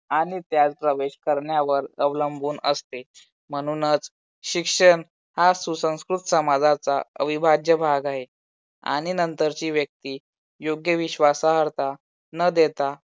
आणि त्यात प्रवेश करण्यावर अवलंबून असते. म्हणूनच शिक्षण हा सुसंस्कृत समाजाचा अविभाज्य भाग आहे. आणि नंतरची व्यक्ती योग्य विश्वासार्हता न देता